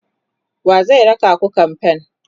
wa zai raka ku kamfen?